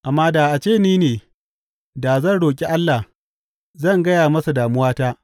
Amma da a ce ni ne, da zan roƙi Allah; zan gaya masa damuwata.